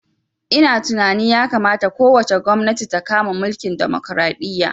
Ina tunani ya kamata ko wace gwamnati ta kama mulkin demokaraɗiya